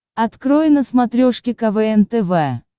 открой на смотрешке квн тв